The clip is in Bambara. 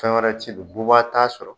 Fɛn wɛrɛ ti don, bubaga t'a sɔrɔ.